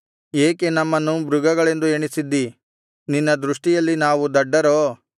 ಏಕೆ ನಮ್ಮನ್ನು ಮೃಗಗಳೆಂದು ಎಣಿಸಿದ್ದೀ ನಿನ್ನ ದೃಷ್ಟಿಯಲ್ಲಿ ನಾವು ದಡ್ಡರೋ